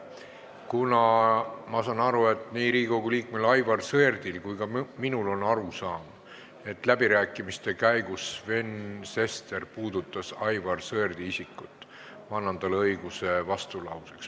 Kuna ma saan aru, et nii Riigikogu liikmel Aivar Sõerdil kui ka minul on arusaam, et läbirääkimiste käigus Sven Sester puudutas Aivar Sõerdi isikut, siis ma annan talle õiguse vastulauseks.